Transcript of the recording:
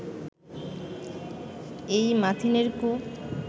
এই মাথিনের কূপ